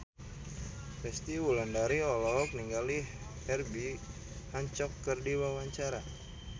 Resty Wulandari olohok ningali Herbie Hancock keur diwawancara